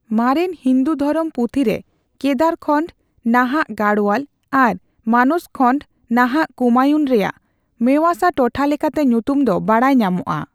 ᱢᱟᱨᱮᱱ ᱦᱤᱱᱫᱩ ᱫᱷᱚᱨᱚᱢ ᱯᱩᱛᱷᱤᱨᱮ ᱠᱮᱫᱟᱨᱠᱷᱚᱱᱰ (ᱱᱟᱦᱟᱜ ᱜᱟᱲᱳᱣᱟᱞ) ᱟᱨ ᱢᱟᱱᱚᱥᱠᱷᱚᱱᱰ (ᱱᱟᱦᱟᱜ ᱠᱩᱢᱟᱭᱩᱱ) ᱨᱮᱭᱟᱜ ᱢᱮᱟᱥᱟ ᱴᱚᱴᱷᱟ ᱞᱮᱠᱟᱛᱮ ᱧᱩᱛᱩᱢ ᱫᱚ ᱵᱟᱰᱟᱭ ᱧᱟᱢᱚᱜᱼᱟ ᱾